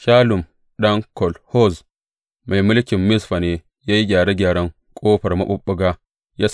Shallum ɗan Kol Hoze mai mulkin Mizfa ne ya yi gyare gyaren Ƙofar Maɓuɓɓuga.